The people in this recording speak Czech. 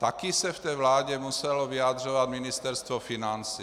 Také se v té vládě muselo vyjadřovat Ministerstvo financí.